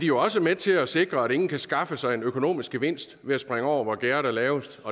jo også med til at sikre at ingen kan skaffe sig en økonomisk gevinst ved at springe over hvor gærdet er lavest